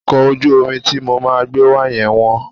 Ọkọ̀ ojú omi ti mo máa gbé wa yẹn ma wọ́n.